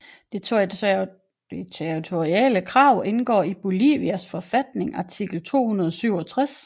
Det territoriale krav indgår i Bolivias forfatning artikel 267